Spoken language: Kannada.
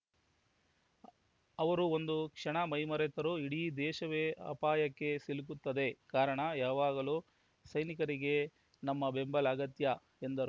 ಅವರು ಒಂದು ಕ್ಷಣ ಮೈಮರೆತರೂ ಇಡೀ ದೇಶವೇ ಅಪಾಯಕ್ಕೆ ಸಿಲುಕುತ್ತದೆ ಕಾರಣ ಯಾವಾಗಲೂ ಸೈನಿಕರಿಗೆ ನಮ್ಮ ಬೆಂಬಲ ಅಗತ್ಯ ಎಂದರು